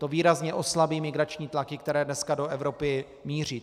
To výrazně oslabí migrační tlaky, které dneska do Evropy míří.